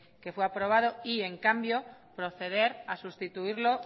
que fue aprobado y en cambio proceder a sustituirlo